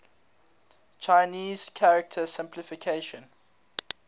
chinese character simplification